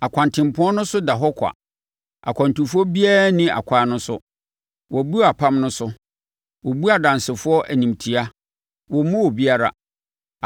Akwantempɔn no so da hɔ kwa, akwantufoɔ biara nni akwan no so. Wɔabu apam no so; wɔbu nʼadansefoɔ animtia wɔmmu obiara.